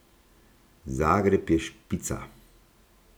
Zagreb je špica!